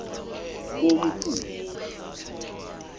komkhulu